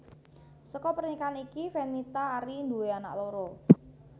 Saka pernikahan iki Fenita Arie nduwé anak loro